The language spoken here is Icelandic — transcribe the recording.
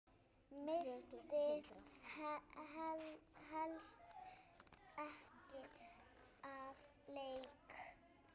Missti helst ekki af leik.